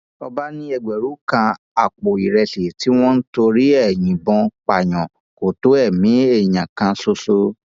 ọba ní ẹgbẹrún kan àpò ìrẹsì tí wọn ń torí ẹ yìnbọn pààyàn kò tó ẹmí èèyàn kan ṣoṣo